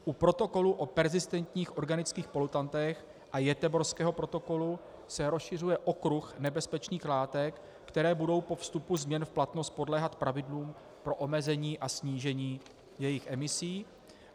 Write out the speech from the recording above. U Protokolu o perzistentních organických polutantech a Göteborského protokolu se rozšiřuje okruh nebezpečných látek, které budou po vstupu změn v platnost podléhat pravidlům pro omezení a snížení jejich emisí.